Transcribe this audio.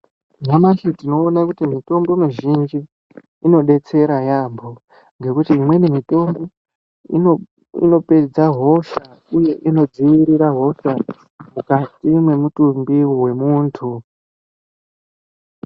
Nyamashi tinoona kuti mitombo mizhinji inodetsera yaambo ngekuti imweni mitombo inopedza hosha uye inodzivirira hosha mukati memutumbi wemuntu.